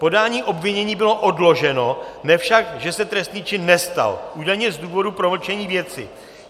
Podání obvinění bylo odloženo, ne však, že se trestný čin nestal, údajně z důvodu promlčení věci.